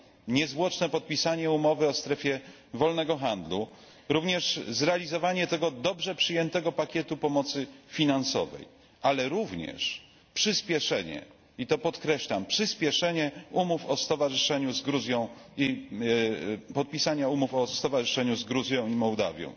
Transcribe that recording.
Niezwłoczne podpisanie umowy o strefie wolnego handlu, również zrealizowanie tego dobrze przyjętego pakietu pomocy finansowej, ale również przyspieszenie i to podkreślam przyspieszenie umów o stowarzyszeniu z Gruzją i podpisanie umów o stowarzyszeniu z Gruzją i Mołdawią.